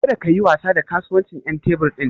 Kada kayi wasa da kasuwancin ƴan tebur ɗin.